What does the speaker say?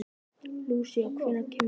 Lúsía, hvenær kemur tían?